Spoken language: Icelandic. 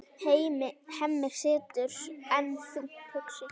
Hemmi situr enn þungt hugsi.